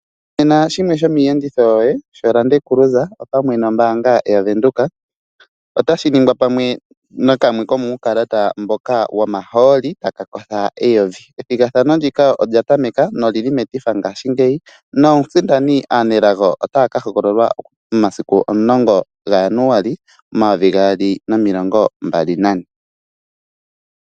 Vena shimwe shomiyenditho yoye sholande kuluza nombanga yaVenduka otashi ningwa pamwe nakamwe komukalata mboka wo maholi taka kosha 1000. Ethigathano ndika olya tameka noli li metifa ngashingeyi nomusindani aanelago otaya ka hogololwa momasiku 10 ga Januali 2024.